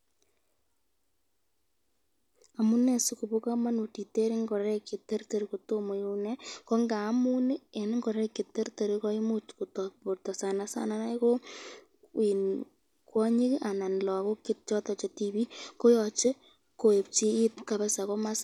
Amune sikobo kamanut iter ingoraik cheterter kotomo inee ko ngamun eng ingoraik cheterter koimuch kotok borto sanasana inei ko kwotik anan ko lagok choton chetibik koyoche keebchi it kabisa .